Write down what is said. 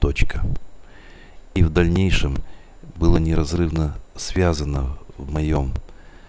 точка и в дальнейшем была неразрывно связана в моём